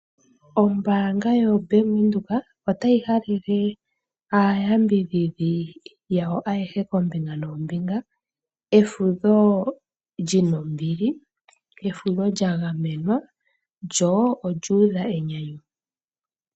Ombaanga yoBank Windhoek otayi halele aayambidhidhi yawo ayehe koombinga noombinga, efudho li na ombili, efudho lya gamenwa, lyo olyuudha enyanyu.